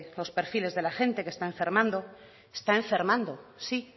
los perfiles de la gente que está enfermando está enfermando sí